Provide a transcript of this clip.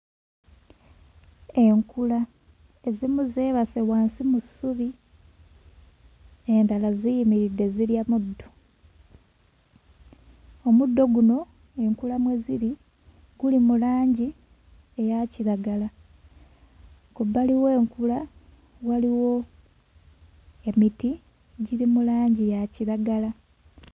Enkula, ezimu zeebase wansi mu ssubi endala ziyimiridde zirya muddo. Omuddo guno enkula mwe ziri guli mu langi eya kiragala. Ku bbali w'enkula waliwo emiti giri mu langi ya kiragala.